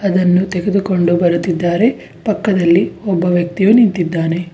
ಅದನ್ನು ತೆಗೆದುಕೊಂಡು ಬರುತ್ತಿದ್ದಾರೆ ಪಕ್ಕದಲ್ಲಿ ಒಬ್ಬ ವ್ಯಕ್ತಿಯೂ ನಿಂತಿದ್ದಾನೆ.